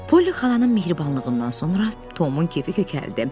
Poli xalanın mehribanlığından sonra Tomun kefi kökəldi.